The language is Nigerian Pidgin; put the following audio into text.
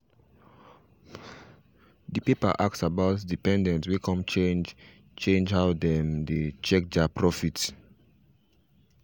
the paper ask about dependents way come change change how them dey check their profit